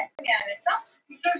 SAUMA- OG PRJÓNASKAP LOKIÐ